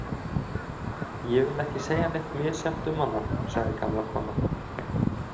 Ég vil ekki segja neitt misjafnt um hana, sagði gamla konan.